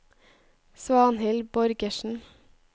Svanhild Borgersen